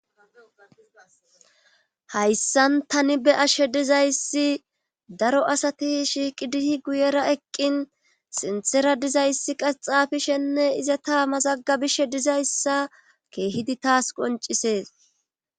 Hayssan tani be7ashe dizayssi daro asati shiiqidi guyera eqqin sinthera dizayssi qaxafishenne iza ta mazaggabishe dizayssa keehidi taas qoncisees.